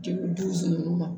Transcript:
Jeli dusu nunnu ma